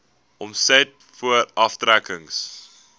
omset voor aftrekkings